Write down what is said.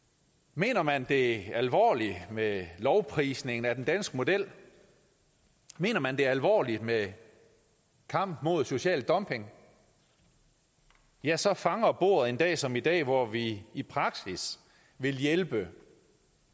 mener man det alvorligt med lovprisningen af den danske model mener man det alvorligt med kampen mod social dumping ja så fanger bordet en dag som i dag hvor vi i praksis vil hjælpe